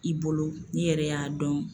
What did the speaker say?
I bolo n'i yɛrɛ y'a dɔn.